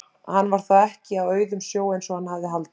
Hann var þá ekki á auðum sjó eins og hann hafði haldið!